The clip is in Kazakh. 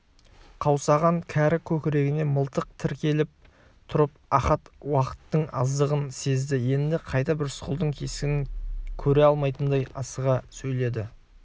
қаусаған кәрі көкірегіне мылтық тіреліп тұрып ахат уақыттың аздығын сезді енді қайтып рысқұлдың кескінін көре алмайтындай асыға сөйледі